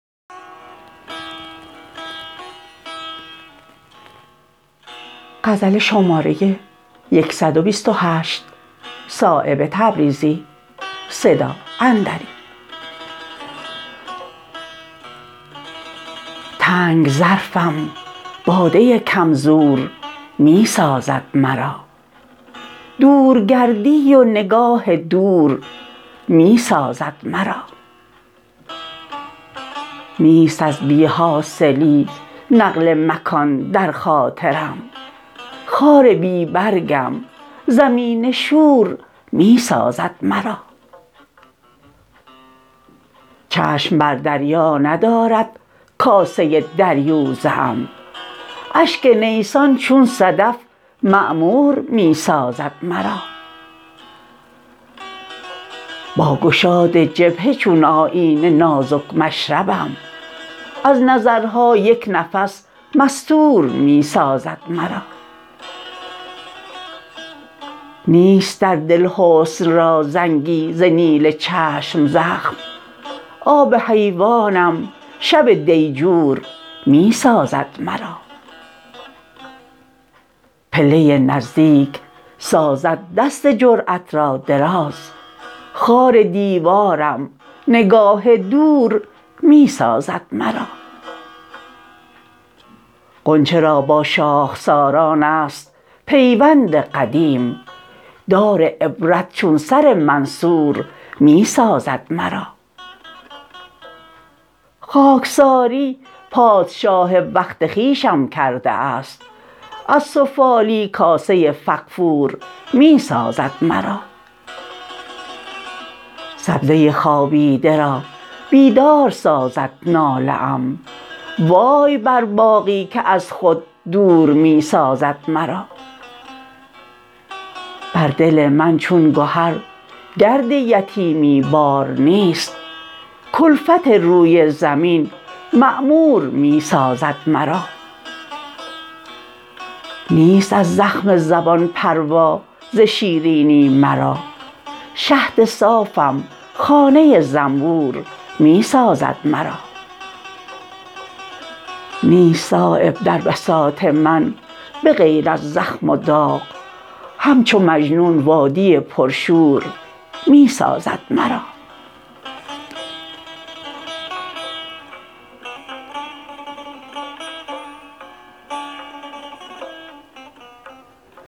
تنگ ظرفم باده کم زور می سازد مرا دور گردی و نگاه دور می سازد مرا نیست از بی حاصلی نقل مکان در خاطرم خار بی برگم زمین شور می سازد مرا چشم بر دریا ندارد کاسه دریوزه ام اشک نیسان چون صدف معمور می سازد مرا با گشاد جبهه چون آیینه نازک مشربم از نظرها یک نفس مستور می سازد مرا نیست در دل حسن را زنگی ز نیل چشم زخم آب حیوانم شب دیجور می سازد مرا پله نزدیک سازد دست جرأت را دراز خار دیوارم نگاه دور می سازد مرا غنچه را با شاخساران است پیوند قدیم دار عبرت چون سر منصور می سازد مرا خاکساری پادشاه وقت خویشم کرده است از سفالی کاسه فغفور می سازد مرا سبزه خوابیده را بیدار سازد ناله ام وای بر باغی که از خود دور می سازد مرا بر دل من چون گهر گرد یتیمی بار نیست کلفت روی زمین معمور می سازد مرا نیست از زخم زبان پروا ز شیرینی مرا شهد صافم خانه زنبور می سازد مرا نیست صایب در بساط من به غیر از زخم و داغ همچو مجنون وادی پرشور می سازد مرا